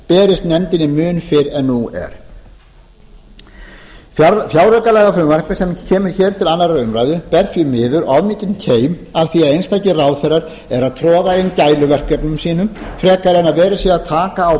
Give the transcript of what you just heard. berist nefndinni mun fyrr en nú er fjáraukalagafrumvarpið sem kemur hér til annarrar umræðu ber því miður of mikinn keim af því að einstakir ráðherrar eru að troða inn gæluverkefnum sínum frekar en að verið sé að taka á